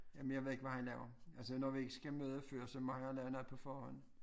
Jamen jeg ved ikke hvad han laver altså når vi ikke skal møde før så må han lave noget på forhånd